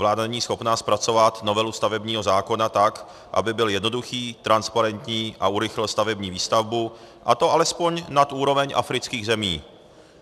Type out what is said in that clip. Vláda není schopna zpracovat novelu stavebního zákona tak, aby byl jednoduchý, transparentní a urychlil stavební výstavbu, a to alespoň nad úroveň afrických zemí.